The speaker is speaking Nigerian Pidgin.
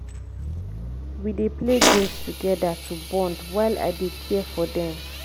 we dey play games together to bond while i dey care for dem.